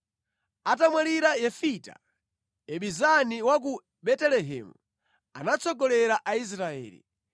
Atamwalira Yefita, Ibizani wa ku Betelehemu anatsogolera Israeli.